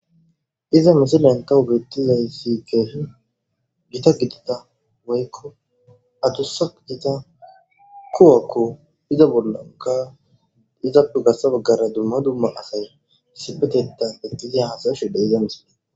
iza misilen tahubettizay si keehi gita gidida woykko atusa ita kuwakko iza bollanka izappe gassa baggara dumma dumma asay sipeteta bettizi haasayshide iza misile